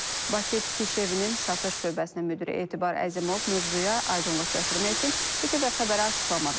Bakı Tikiş Evinin satış şöbəsinin müdiri Etibar Əzimov mövzuya aydınlıq gətirmək üçün İTV Xəbərə açıqlama verib.